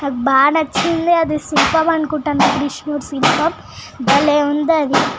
బాగా నచింది ఆది శిల్పం అనుకుంట నేను . బలే ఉంది అది.